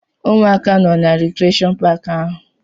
Ụmụaka nọ na rikreshọn paaki ahụ.